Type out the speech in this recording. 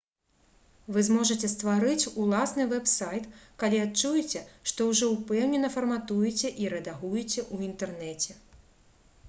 вы зможаце стварыць уласны вэб-сайт калі адчуеце што ўжо ўпэўнена фарматуеце і рэдагуеце ў інтэрнэце